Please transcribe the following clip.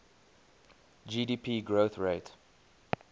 gdp growth rate